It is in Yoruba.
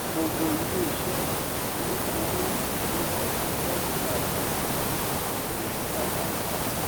gbogbo ilé iṣẹ olókoòwò ni wọn ṣiṣẹ ní awọn ọnà ti ń yí padà